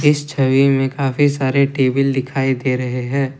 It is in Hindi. इस छवि में काफी सारे टेबल दिखाई दे रहे हैं।